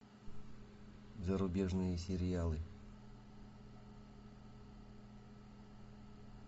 зарубежные сериалы